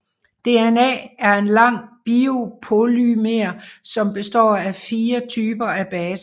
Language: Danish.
DNA er en lang biopolymer som består af fire typer af baser